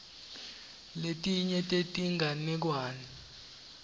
letinye tetinganekwane